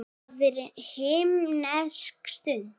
Það er himnesk stund.